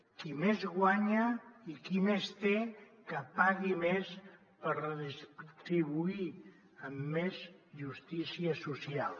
qui més guanya i qui més té que pagui més per redistribuir amb més justícia social